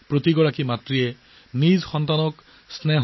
প্ৰতিগৰাকী মাতৃ প্ৰতিটো মৰম নিজৰ সন্তানক দিয়ে